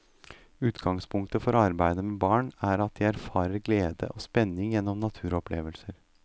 Utgangspunkt for arbeidet med barn, er at de erfarer glede og spenning gjennom naturopplevelser.